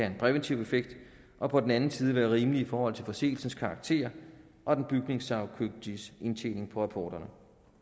en præventiv effekt og på den anden side være rimelig i forhold til forseelsens karakter og den bygningssagkyndiges indtjening på rapporterne